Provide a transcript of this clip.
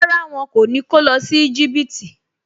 Rárá, wọn kò ní kó lọ sí Íjíbítì